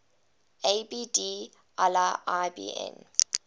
abd allah ibn